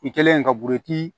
I kɛlen ka buruti